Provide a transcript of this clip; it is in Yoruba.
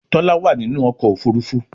Tola wá nínú ọkọ̀ òfurufú.